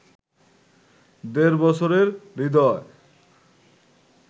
দেড় বছরের হৃদয়